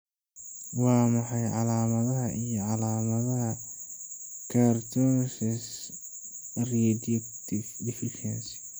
Waa maxay calaamadaha iyo calaamadaha Cortisone reductase deficiency?